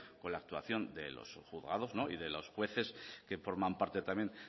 con la actuación de los juzgados y de los jueces que forman parte también